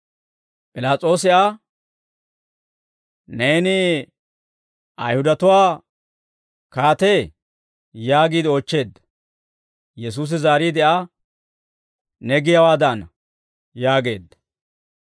P'ilaas'oosi Aa, «Neeni Ayihudatuwaa kaatee?» yaagiide oochcheedda. Yesuusi zaariide Aa, «Ne giyaawaadana» yaageedda.